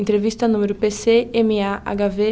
Entrevista número pê-cê-eme-á-agá-vê